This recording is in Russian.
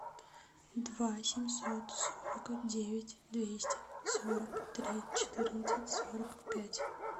два семьсот сорок девять двести сорок три четырнадцать сорок пять